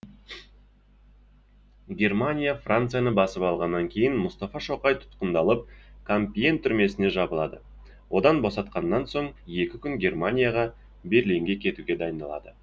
германия францияны басып алғаннан кейін мұстафа шоқай тұтқындалып кампиен түрмесіне жабылады одан босатқаннан соң екі күн германияға берлинге кетуге дайындалады